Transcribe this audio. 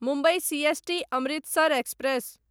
Mumbai CST Amritsar express